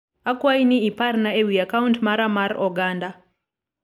akwayi ni iparna ewi akaunt mara mar oganda